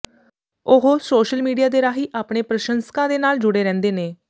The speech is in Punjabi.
ਉਹ ਸੋਸ਼ਲ ਮੀਡੀਆ ਦੇ ਰਾਹੀਂ ਆਪਣੇ ਪ੍ਰਸ਼ੰਸਕਾਂ ਦੇ ਨਾਲ ਜੁੜੇ ਰਹਿੰਦੇ ਨੇ